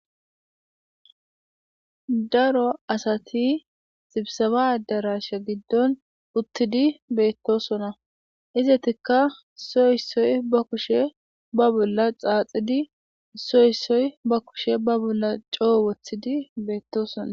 Daro asati xibsaba darasha giddon puttidi beetto sona izatikka soyissoy ba kushe ba bolla xaaxidi soyissoy ba kushe ba bolla coo wothidi beetto sona